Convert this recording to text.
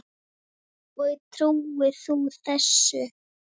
Og trúir þú þessu?